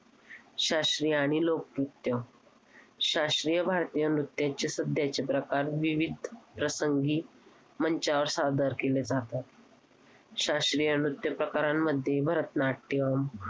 शास्त्रीय आणि लोकनृत्य. शास्त्रीय भारतीय नृत्याचे सध्याचे प्रकार विविध प्रसंगी मंचावर सादर केले जातात. शास्त्रीय नृत्य प्रकारामध्ये भरतनाट्यम